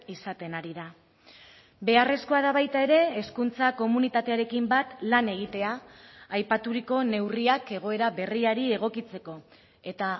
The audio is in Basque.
izaten ari da beharrezkoa da baita ere hezkuntza komunitatearekin bat lan egitea aipaturiko neurriak egoera berriari egokitzeko eta